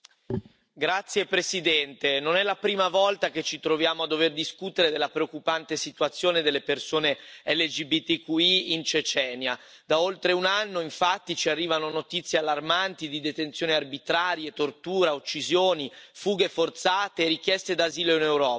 Signor Presidente, onorevoli colleghi, non è la prima volta che ci troviamo a dover discutere della preoccupante situazione delle persone LGBTQI in Cecenia. Da oltre un anno, infatti, ci arrivano notizie allarmanti di detenzioni arbitrarie, torture, uccisioni, fughe forzate, richieste d'asilo in Europa.